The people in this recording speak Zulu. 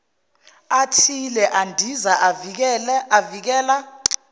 athile endiza avikela